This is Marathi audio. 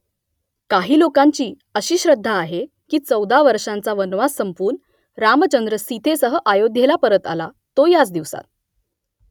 काही लोकांची अशी श्रद्धा आहे की चौदा वर्षांचा वनवास संपवून रामचंद्र सीतेसह अयोध्येला परत आला , तो याच दिवसात